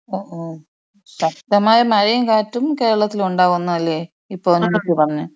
ഓ ഓ ശക്തമായ മഴയും കാറ്റും കേരളത്തിലുണ്ടാവും എന്ന് അല്ലെ? ഇപ്പൊ അതിനകത്ത് പറഞ്ഞെ?